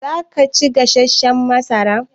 Za ka ci gasashshan masara?